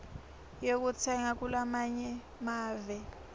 yekutsenga kulamanye emave